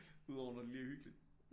Udover når det lige er hyggeligt